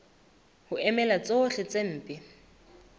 ho emela tsohle tse mpe